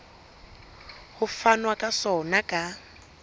ho fanwa ka sona ka